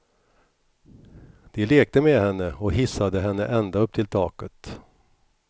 De lekte med henne och hissade henne ända upp till taket.